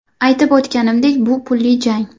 Aytib o‘tganimdek, bu pulli jang.